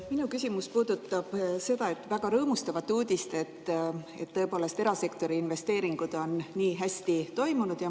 Minu küsimus puudutab seda väga rõõmustavat uudist, et erasektori investeeringud on nii hästi toiminud.